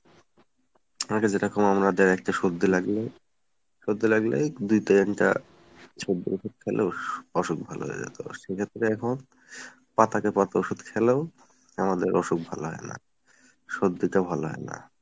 আগে যেরকম আমাদের একটা সর্দি লাগলে সর্দি লাগলেই এই দুই তিনটা সর্দির ওষুধ খাইলেও অসুখ ভালো হয়ে যেত। সেক্ষেত্রে এখন পাতাকে পাতা ওষুধ খেলেও আমাদের অসুখ ভালো হয় না সর্দিটা ভালো হয় না